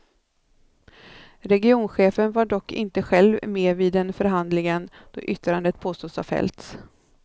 Regionchefen var dock inte själv med vid den förhandlingen då yttrandet påstås ha fällts.